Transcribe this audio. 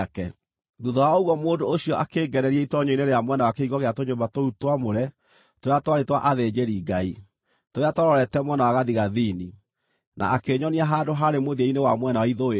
Thuutha wa ũguo mũndũ ũcio akĩngereria itoonyero-inĩ rĩa mwena wa kĩhingo gĩa tũnyũmba tũu twamũre tũrĩa twarĩ twa athĩnjĩri-Ngai, tũrĩa twarorete mwena wa gathigathini, na akĩnyonia handũ haarĩ mũthia-inĩ wa mwena wa ithũĩro.